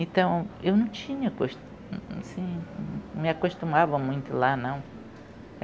Então, eu não tinha costu... não me acostumava muito lá, não.